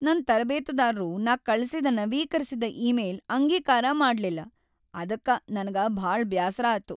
ನನ್ ತರಬೇತುದಾರರು ನಾ ಕಳ್ಸಿದ ನವೀಕರಿಸಿದ ಇಮೇಲ್ ಅಂಗೀಕಾರ ಮಾಡ್ಲಲ್ಲಿಲ್ ಅದಕ್ಕ ನನಗ ಬಾಳ್ ಬ್ಯಾಸರ್ ಆಯ್ತ.